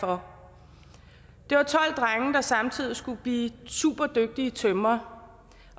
der samtidig skulle blive superdygtige tømrere